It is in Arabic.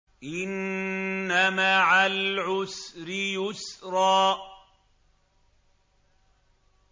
إِنَّ مَعَ الْعُسْرِ يُسْرًا